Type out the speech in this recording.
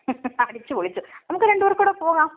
അടിച്ച് പൊളിച്ചു. നമുക്ക് രണ്ട് പേർക്കും കൂടി പോകാം.